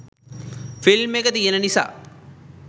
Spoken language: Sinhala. ෆිල්ම් එක තියෙන නිසා